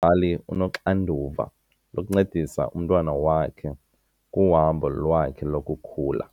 mzali unoxanduva lokuncedisa umntwana wakhe kuhambo lwakhe lokukhula.